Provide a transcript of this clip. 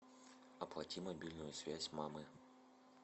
оплати мобильную связь мамы